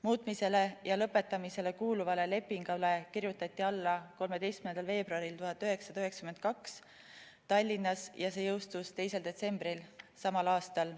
Muutmisele ja lõpetamisele kuuluvale lepingule kirjutati alla 13. veebruaril 1992 Tallinnas ja see jõustus 2. detsembril samal aastal.